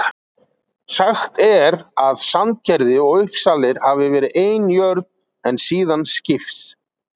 Sagt er að Sandgerði og Uppsalir hafi verið ein jörð en síðan skipst.